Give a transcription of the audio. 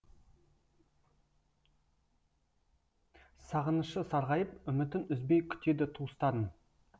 сағынышы сарғайып үмітін үзбей күтеді туыстарын